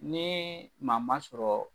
Ni maa ma sɔrɔ